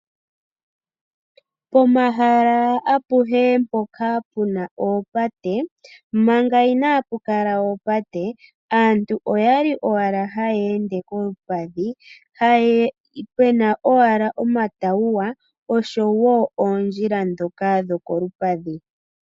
Pomahala apuhe mpoka pena oopate mangaa inapukala oopate opwali pena owala iitawuwa oshowo oondjila ndhoka dho kolupadhi.